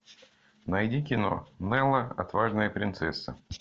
найди кино нелла отважная принцесса